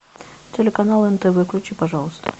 телеканал нтв включи пожалуйста